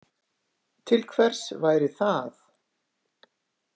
Til hvers væri það?